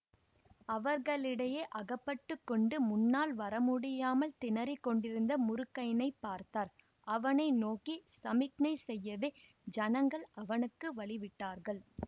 அவர்களிடையே அகப்பட்டு கொண்டு முன்னால் வரமுடியாமல் திணறிக்கொண்டிருந்த முருகய்யனைப் பார்த்தார் அவனை நோக்கி சமிக்ஞை செய்யவே ஜனங்கள் அவனுக்கு வழிவிட்டார்கள்